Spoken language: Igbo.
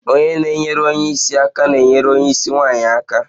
Onye na-enyere onye isi aka na-enyere onye isi nwanyị aka